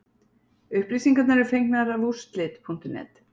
Upplýsingar eru fengnar af úrslit.net.